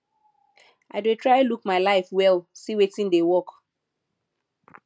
i dey try look my life well see wetin dey work